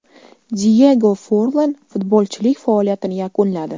Diyego Forlan futbolchilik faoliyatini yakunladi.